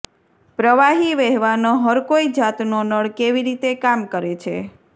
પ્રવાહી વહેવાનો હરકોઈ જાતનો નળ કેવી રીતે કામ કરે છે